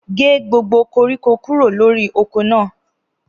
Gẹ gbògbó kọrikọ kúrọ lọ̀rí ọkọ na!